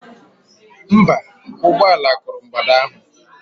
Mba, ụgbọ ala kụrụ mgbada ahụ.